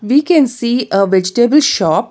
We can see a vegetable shop.